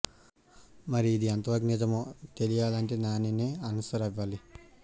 మరి ఇది ఎంతవరకు నిజమో తెలియాలంటే నానినే అన్సార్ ఇవ్వాలి